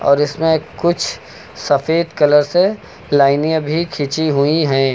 और इसमें कुछ सफेद कलर से लाइने भी खींची हुई है।